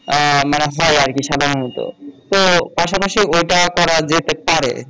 আহ মানে হয় আরকি সাধারণত তো পাশাপাশি ওটা করা যেতে পারে